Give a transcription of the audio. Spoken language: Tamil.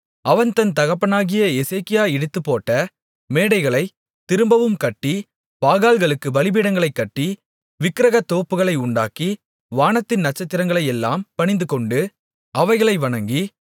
அவன் தன் தகப்பனாகிய எசேக்கியா இடித்துப்போட்ட மேடைகளைத் திரும்பவும் கட்டி பாகால்களுக்குப் பலிபீடங்களைக் கட்டி விக்கிரகத்தோப்புகளை உண்டாக்கி வானத்தின் நட்சத்திரங்களையெல்லாம் பணிந்துகொண்டு அவைகளை வணங்கி